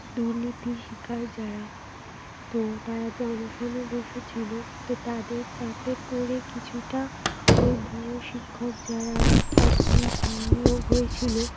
দুর্নীতির শিকার যারা, তো তারা যে অনশনে বসে ছিল, তো তাদের চাপে পরে কিছুটা ওই ভুয়ো শিক্ষক যারা আর কি আঁ নিয়োগ হয়েছিল